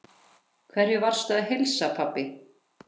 Hverjum varstu að heilsa, pabbi?